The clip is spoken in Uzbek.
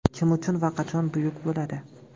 Kim uchun va qachon buyuk bo‘ladi?